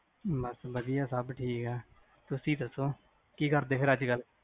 ਬਸ ਵਧਿਆ ਸਬ ਠੀਕਾ ਤੁਸੀ ਦਸੋ, ਕੀ ਕਰਦੇ ਅੱਜਕਲ?